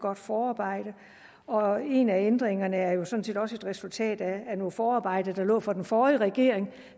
godt forarbejde og en af ændringerne er jo sådan set også et resultat af nogle forarbejder der lå fra den forrige regering